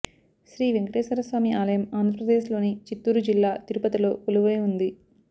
శ్రీ వేంకటేశ్వర స్వామి ఆలయం ఆంధ్రప్రదేశ్ లోని చిత్తూరు జిల్లా తిరుపతిలో కొలువై వుంది